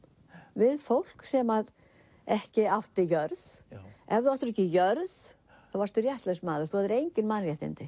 við fólk sem ekki átti jörð ef þú áttir ekki jörð þá varstu réttlaus maður þú hafðir engin mannréttindi